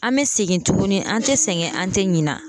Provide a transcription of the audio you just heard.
An bɛ segin tuguni an tɛ sɛgɛn an tɛ ɲina